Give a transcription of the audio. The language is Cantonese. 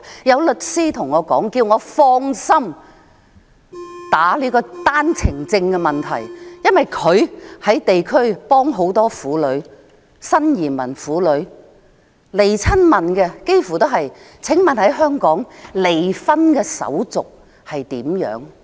有律師跟我說，請我放心辯論單程證的問題，因為他在地區幫助很多新移民婦女，前來詢問的幾乎都是問香港的離婚手續如何。